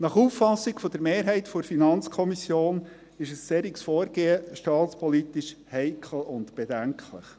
Nach Auffassung der Mehrheit der FiKo ist ein solches Vorgehen staatspolitisch heikel und bedenklich.